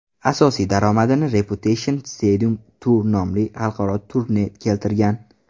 Asosiy daromadini Reputation Stadium Tour nomli xalqaro turne keltirgan.